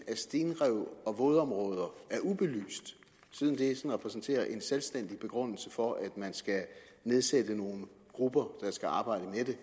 af stenrev og vådområder er ubelyst siden det repræsenterer en selvstændig begrundelse for at man skal nedsætte nogle grupper der skal arbejde